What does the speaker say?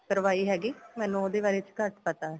ਕਰਵਾਈ ਹੈਗੀ ਮੈਨੂੰ ਉਹਦੇ ਬਾਰੇ ਚ ਘੱਟ ਪਤਾ ਏ